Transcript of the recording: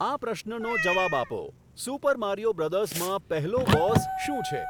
આ પ્રશ્નનો જવાબ આપો સુપર મારિયો બ્રધર્સમાં પહેલો બોસ શું છે